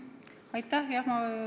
Aitäh!